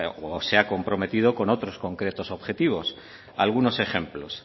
o se ha comprometido con otros concretos objetivos algunos ejemplos